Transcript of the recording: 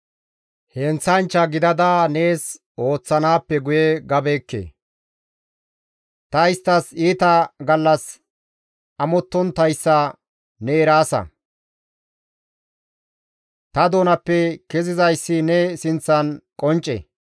Heenththanchcha gidada nees ooththanaappe guye gabeekke; ta isttas iita gallas amottonttayssa ne eraasa; ta doonappe kezizayssi ne sinththan qoncce.